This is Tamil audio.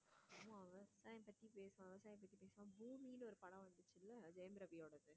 ஆமா அவன் விவசாயத்தை பத்தி பேசுவான் விவசாயம் பத்தி பேசுவான் பூமின்னு ஒரு படம் வந்துச்சுல்ல ஜெயம் ரவியோடாது